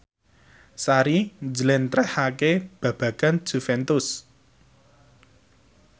Sari njlentrehake babagan Juventus